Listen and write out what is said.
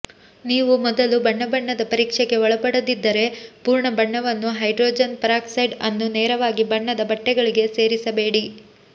ನೀವು ಮೊದಲು ಬಣ್ಣಬಣ್ಣದ ಪರೀಕ್ಷೆಗೆ ಒಳಪಡದಿದ್ದರೆ ಪೂರ್ಣ ಬಣ್ಣವನ್ನು ಹೈಡ್ರೋಜನ್ ಪೆರಾಕ್ಸೈಡ್ ಅನ್ನು ನೇರವಾಗಿ ಬಣ್ಣದ ಬಟ್ಟೆಗಳಿಗೆ ಸೇರಿಸಬೇಡಿ